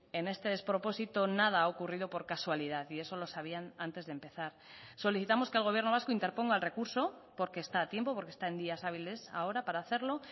en este despropósito nada ha ocurrido por casualidad y eso lo sabían antes de empezar solicitamos que el gobierno vasco interponga el recurso porque está a tiempo porque está en días hábiles ahora para hacerlo